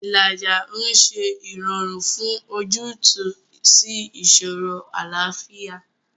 Ìlàjà ń ṣe ìrọ̀rùn fún ojútùú sí ìṣòro àlàáfíà.